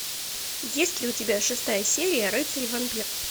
есть ли у тебя шестая серия рыцарь и вампир